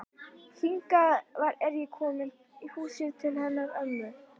Hingað er ég komin í húsið til hennar ömmu.